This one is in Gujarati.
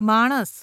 માણસ